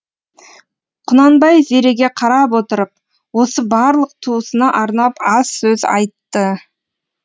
құнанбай зереге қарап отырып осы барлық туысына арнап аз сөз айтты